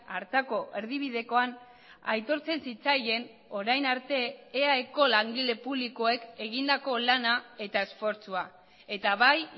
hartako erdibidekoan aitortzen zitzaien orain arte eaeko langile publikoek egindako lana eta esfortzua eta bai